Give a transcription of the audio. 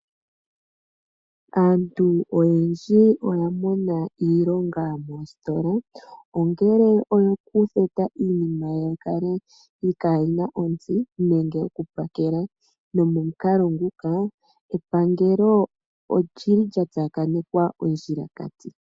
Aantu oyendji oya mona iilonga moositola, ongele oyo ku theta iinima yi kale kayina ontsi, nenge oku pakela. Nomo mukalo nguka, epangelo oli li lya tsakanekwa ondjila kati.